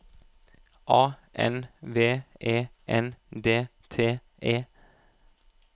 A N V E N D T E